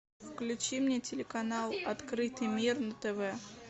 включи мне телеканал открытый мир на тв